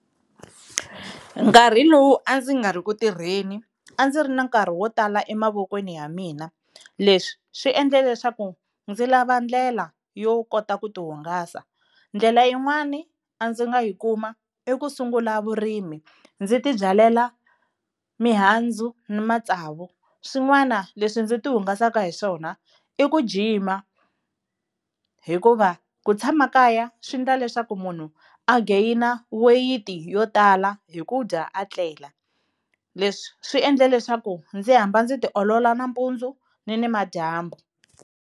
Nkarhi lowu a ndzi nga ri ku tirheni a ndzi ri na nkarhi wo tala emavokweni ya mina, leswi swi endle leswaku ndzi lava ndlela yo kota ku tihungasa. Ndlela yin'wani a ndzi nga yi kuma i ku sungula vurimi ndzi tibyalela mihandzu na matsavu. Swin'wana leswi ndzi ti hungasaka hi swona i ku jima hikuva ku tshama kaya swi endla leswaku munhu a gain weyiti yo tala hi ku dya a tlela, leswi swi endla leswaku ndzi hamba ndzi tiolola nampundzu ni nimadyambu.